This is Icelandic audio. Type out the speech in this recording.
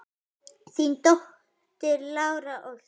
Þín dóttir, Lára Ósk.